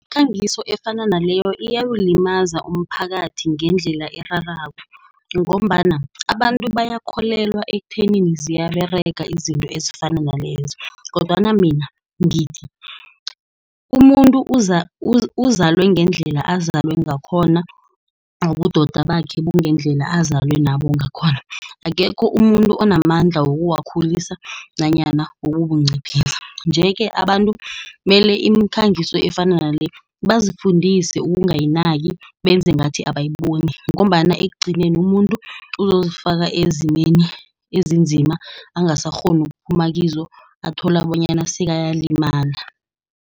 Umkhangiso efana naleyo, iyawulimaza umphakathi ngendlela erarako, ngombana abantu bayakholelwa ekuthenini ziyaberega izinto ezifana nalezo, kodwana mina ngithi, umuntu uzalwe ngendlela azalwe ngakhona, ubudoda bakhe bungendlela azalwe nabo ngakhona. Akekho umuntu onamandla wokuwakhulisa nanyana wokukunciphisa. Nje-ke abantu mele imikhangiso efana leyo, bazifundise ukungayinaki benze ngathi abayiboni, ngombana ekugcineni umuntu uzozifaka ezimeni ezinzima, angasakghoni ukuphuma kizo athola bonyana sekayalimala.